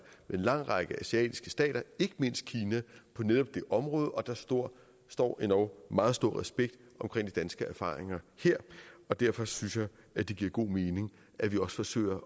med en lang række asiatiske stater ikke mindst kina på netop det område og der står står endog meget stor respekt omkring danske erfaringer her og derfor synes jeg at det giver god mening at vi også forsøger